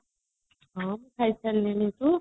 ହଁ ଖାଇସାରିଲାଣି ତୁ